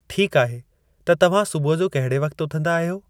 ठीक आहे त तव्हां सुबुह जो कहड़े वक्ति उथंदा आहियो?